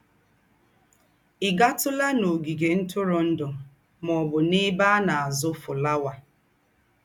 Ị̀ gátùlà n’ógìgè ńtùrùndù mà ọ́ bụ́ n’èbè à ná-àzú́ fụ́láwà?